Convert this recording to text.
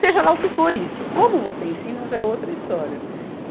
Seja lá o que for isso, como você ensina já é outra história.